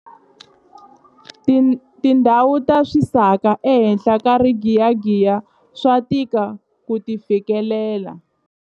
Tindhawu ta swisaka ehenhla ka rigiyagiya swa tika ku ti fikelela.